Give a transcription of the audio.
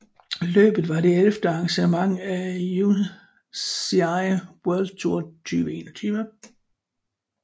Løbet var det ellevte arrangement på UCI World Tour 2021